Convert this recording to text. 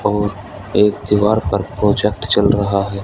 और एक दीवार पर प्रोजेक्ट चल रहा है।